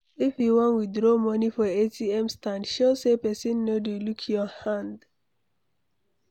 If you wan withdraw money for ATM stand, sure say pesin no dey look your hand